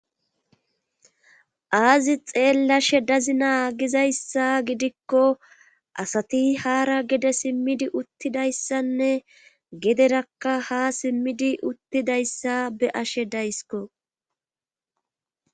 Aazi xeellashe dazi naagizayssa gidikko asati haara gede simmidi uttidayssanne gederakka ha simmidi uttidayssa be ashe daysko